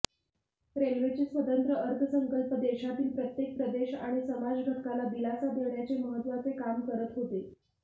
रेल्वेचे स्वतंत्र अर्थसंकल्प देशातील प्रत्येक प्रदेश आणि समाज घटकाला दिलासा देण्याचे महत्त्वाचे काम करत होते